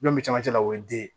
Ɲɔn be cɛmancɛ la o ye den ye